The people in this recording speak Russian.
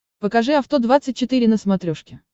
покажи авто двадцать четыре на смотрешке